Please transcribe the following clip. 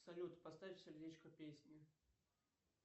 салют поставь сердечко песне